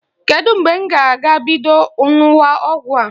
Kedu mgbe m ga-ebido ṅụwa ọgwụ a?